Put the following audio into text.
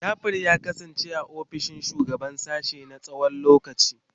Jafar ya kasance ofishin shugaban sashen na tsawon lokaci.